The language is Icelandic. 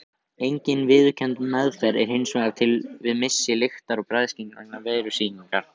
Engin viðurkennd meðferð er hins vegar til við missi lyktar- og bragðskyns vegna veirusýkingar.